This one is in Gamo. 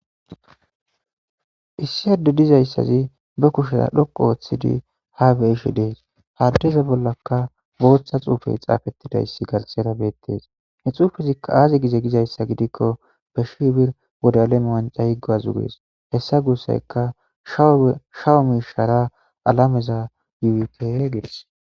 Issi addey dizaysi be kushiya dhoqu othidi ha beyishe des haysa bollaka Botha wife xafetidaysi betes ha xufezika azi gize gizaysa gidikko be shi birr wode alem wancha yi guwazi ges hesa gusayika shawu mishara alameza yuyite gides.